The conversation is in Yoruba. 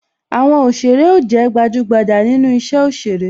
Àwọn òsèrè ó jé gbajugbaja nínú isẹ òsèré